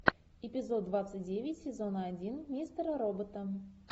эпизод двадцать девять сезона один мистера робота